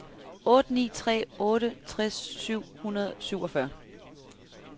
otte ni tre otte tres syv hundrede og syvogfyrre